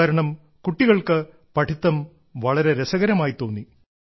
അതുകാരണം കുട്ടികൾക്ക് പഠിത്തം വളരെ രസകരമായി തോന്നി